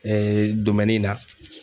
na.